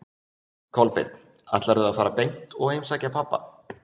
Kolbeinn: Ætlarðu að fara beint og heimsækja pabba?